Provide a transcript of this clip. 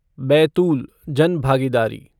बैतूल जनभागीदारी